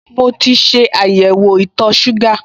Mo ti ṣe àyẹ̀wò itọ̀ọ ṣúgà